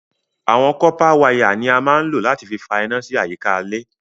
Awọn kọ̀pà wàya ni à mà n lọ̀ láti fì fà iná sí àyíkà ilẹ̀